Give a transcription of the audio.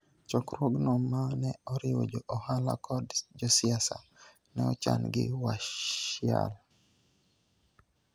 Chokruogno ma ne oriwo jo ohala kod josiasa, ne ochan gi Washiali.